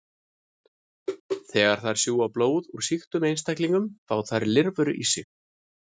Þegar þær sjúga blóð úr sýktum einstaklingi fá þær lirfur í sig.